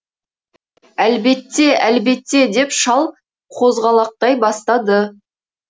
әлбетте әлбетте деп шал қозғалақтай бастады